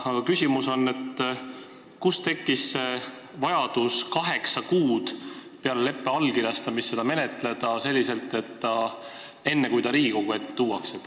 Aga kust tekkis vajadus peale leppe allkirjastamist seda kaheksa kuud menetleda, enne kui see Riigikogu ette tuua?